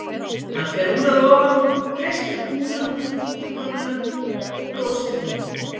Hann fer úr að ofan, kreistir kúlur upp úr títuprjónunum og brosir hringinn.